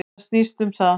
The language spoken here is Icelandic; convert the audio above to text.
Þetta snýst um það.